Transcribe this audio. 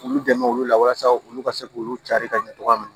K'u dɛmɛ olu la walasa olu ka se k'olu cari ka ɲɛ cogoya min na